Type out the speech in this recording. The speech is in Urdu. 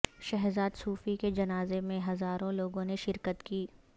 شہزاد صوفی کے جنازے میں ہزاروں لوگوں نے شرکت کی